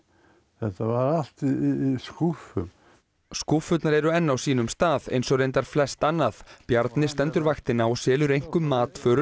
þetta var allt í skúffum skúffurnar eru enn á sínum stað eins og reyndar flest annað Bjarni stendur vaktina og selur einkum matvöru